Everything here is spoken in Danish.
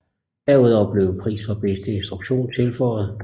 Derudover blev en pris for bedste instruktion tilføjet